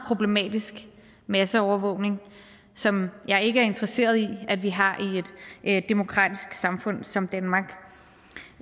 problematisk masseovervågning som jeg ikke er interesseret i vi har i et demokratisk samfund som danmark